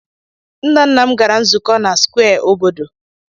Nna nna m gara nzukọ na square obodo.